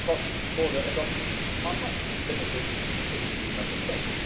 cross border adoptions are not limited to EU Member States.